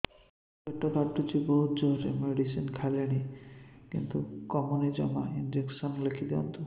ପେଟ କାଟୁଛି ବହୁତ ଜୋରରେ ମେଡିସିନ ଖାଇଲିଣି କିନ୍ତୁ କମୁନି ଜମା ଇଂଜେକସନ ଲେଖିଦିଅନ୍ତୁ